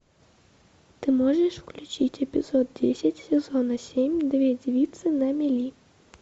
ты можешь включить эпизод десять сезона семь две девицы на мели